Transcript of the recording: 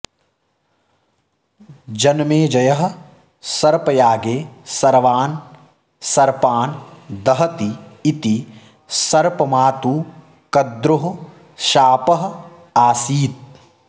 जनमेजयः सर्पयागे सर्वान् सर्पान् दहति इति सर्पमातुः कद्रोः शापः आसीत्